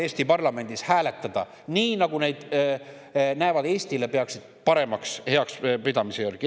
– Eesti parlamendis hääletada nii, nagu nad Eestile paremaks peavad, selle järgi.